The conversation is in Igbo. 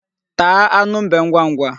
Taa anụ mbe ngwangwa.